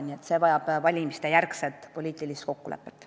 Nii et see vajab pärast valimisi langetatavat poliitilist kokkulepet.